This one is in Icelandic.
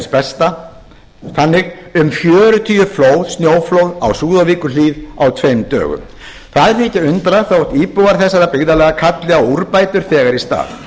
besta þannig um fjörutíu snjóflóð á súðavíkurhlíð á tveim dögum það er ekki að undra þótt íbúar þessara byggðarlaga kalli á úrbætur þegar í stað